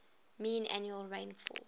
mean annual rainfall